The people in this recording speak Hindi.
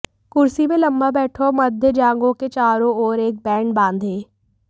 कुर्सी में लंबा बैठो और मध्य जांघों के चारों ओर एक बैंड बांधें